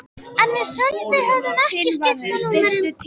En við Sölvi höfðum ekki enn skipst á númerum.